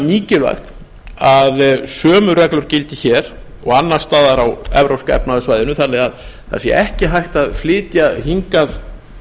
mikilvægt að sömu reglur gildi hér og annars staðar á evrópska efnahagssvæðinu þannig að ekki sé hægt að flytja hingað